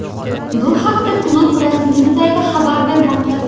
Bu haqda klub rasmiy sayti xabar bermoqda.